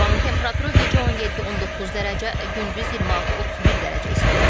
Havanın temperaturu gecə 17-19 dərəcə, gündüz 26-31 dərəcə isti olacaq.